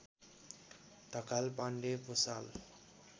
Dhakal Pande Bhusal